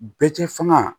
Bɛɛ tɛ fanga